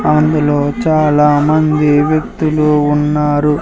అందులో చాలా మంది వ్యక్తులు ఉన్నారు.